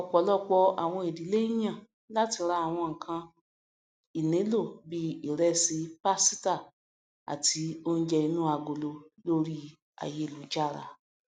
ọpọlọpọ àwọn ìdílé ń yàn láti rà àwọn nǹkàn ìnílò bí ìrẹsì pásítà àti oúnjẹ inú agolo lórí ayélujára